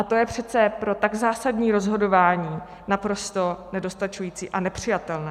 A to je přece pro tak zásadní rozhodování naprosto nedostačující a nepřijatelné.